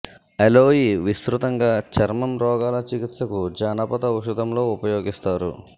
aloe విస్తృతంగా చర్మం రోగాల చికిత్సకు జానపద ఔషధం లో ఉపయోగిస్తారు